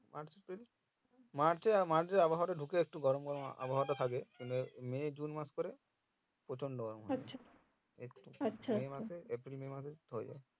March, April March March এ একটু আবহাওয়াটা ঢুকে একটু গরম গরম আবহাওয়াটা থাকে তবে May, June মাস করে প্রচন্ড গরম একটু April, May হয়ে যাই